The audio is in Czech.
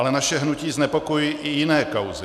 Ale naše hnutí znepokojují i jiné kauzy.